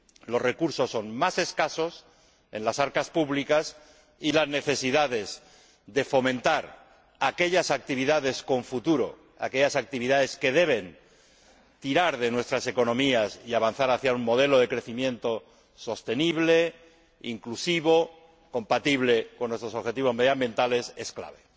Los recursos son más escasos en las arcas públicas y las necesidades de fomentar aquellas actividades con futuro, aquellas actividades que deben tirar de nuestras economías y avanzar hacia un modelo de crecimiento sostenible, inclusivo, compatible con nuestros objetivos medioambientales, es clave.